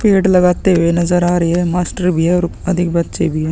पेड़ लगाते हुए नज़र आ रही है मास्टर भी है और अधिक बच्चे भी है।